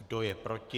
Kdo je proti?